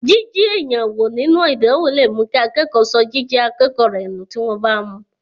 Jiji èèyàn wo nínú ìdánwò lè mú kí akẹ́kọ̀ọ́ sọ jíjẹ́ akẹ́kọ̀ọ́ rẹ nù tí wọ́n bá mú.